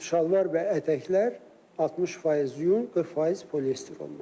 Şalvar və ətəklər 60% yun, 40% poliester olmalıdır.